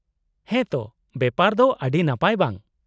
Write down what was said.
-ᱦᱮᱸ ᱛᱚ! ᱵᱮᱯᱟᱨ ᱫᱚ ᱟᱹᱰᱤ ᱱᱟᱯᱟᱭ ᱵᱟᱝ ?